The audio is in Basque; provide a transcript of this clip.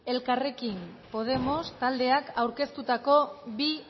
elkarrekin podemos taldeak aurkeztutako bi